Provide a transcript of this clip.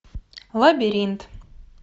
лабиринт